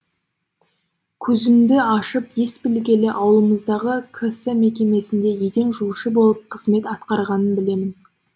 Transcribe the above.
көзімді ашып ес білгелі ауылымыздағы кс мекемесінде еден жуушы болып қызмет атқарғанын білемін